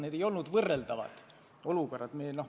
Need ei ole olnud võrreldavad olukorrad.